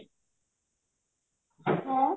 ହଁ?